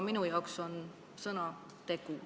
Minu jaoks on sõna tegu.